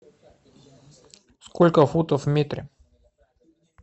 сколько футов в метре